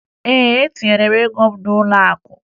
Ee, etinyere m ego m n'ụlọakụ